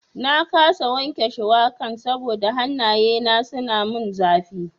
Na kasa wanke shuwakan saboda hannaye na suna mun zafi.